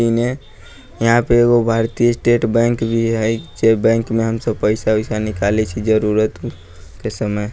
इ में यहाँ पे एगो भारतीय स्टेट बैंक भी हई जे बैंक में हम सब पइसा-ओइसा निकाले छै जरुरत के समय।